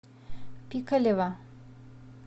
пикалево